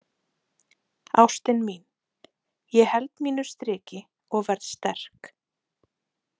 Ástin mín, ég held mínu striki og verð sterk.